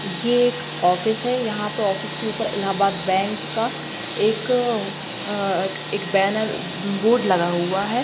ये एक ऑफिस है यहाँ पे ऑफिस के ऊपर इलाहाबाद बैंक का एक अ एक बैनर ब-बोर्ड लगा हुआ है।